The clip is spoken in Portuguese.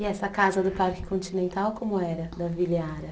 E essa casa do Parque Continental como era, da Vila Yara?